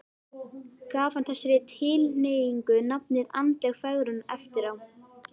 Gaf hann þessari tilhneigingu nafnið andleg fegrun eftir á.